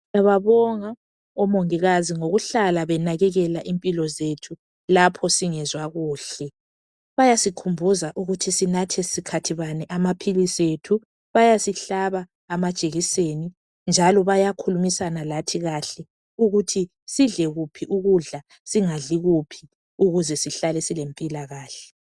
Siyababonga omongikazi ngokuhlala benakekela impilo zethu lapho singezwa kuhle. Bayasikhumbuza ukuthi sinathe sikhathi bani amaphilisi ethu bayasihlaba amajekiseni njalo bayakhulumisana lathi kuhle ukuthi sidle kuphi ukudla singadli kuphi ukuze sihlale silempila kahle.